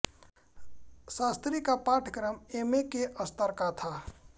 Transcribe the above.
शास्त्री का पाठ्यक्रम M A के स्तर का था